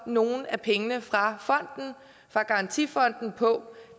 nogle af pengene fra garantifonden på